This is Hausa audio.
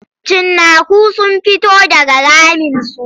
Cinnaku sun fito daga raminsu.